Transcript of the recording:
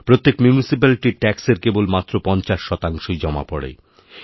প্রত্যেক মিউনিসিপ্যালিটির ট্যাক্সের কেবল মাত্র পঞ্চাশ শতাংশইজমা পড়ে